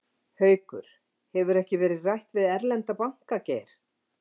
Haukur: Hefur ekkert verið rætt við erlenda banka, Geir?